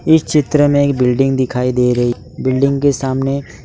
इस चित्र में एक बिल्डिंग दिखाई दे रही बिल्डिंग के सामने--